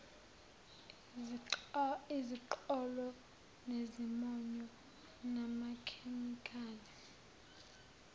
iziqholo nezimonyo namakhemikhali